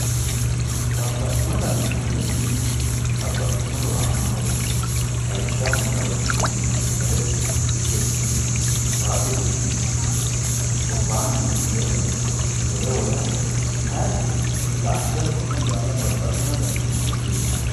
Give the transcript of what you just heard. babaxxino dani uduunnichi babaxitino horo aannohowe lawishaho mine horonsinemohu sagale qixesinemohu waa diri'nemohu gobbaannino ikko birotte horonsinayire la''attore kone baala babaxino dani udunetiwe yinayi